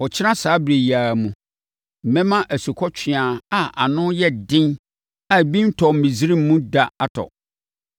Ɔkyena saa ɛberɛ yi ara mu, mɛma asukɔtweaa a ano yɛ den a ebi ntɔɔ Misraiman mu da atɔ.